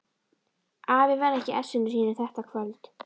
Afi var ekki í essinu sínu þetta kvöld.